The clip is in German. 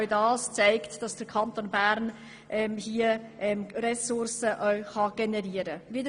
Das zeigt, dass der Kanton Bern in diesem Bereich Ressourcen generieren kann.